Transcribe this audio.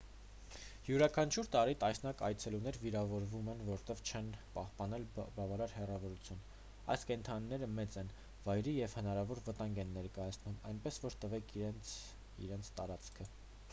յուրաքանչյուր տարի տասնյակ այցելուներ վիրավորվում են որովհետև չեն պահպանել բավարար հեռավորությունը այս կենդանիները մեծ են վայրի և հնարավոր վտանգ են ներկայացնում այնպես որ տվեք նրանց իրենց տարածքը